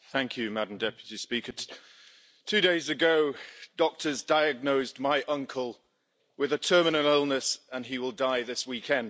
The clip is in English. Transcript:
Madam President, two days ago, doctors diagnosed my uncle with a terminal illness and he will die this weekend.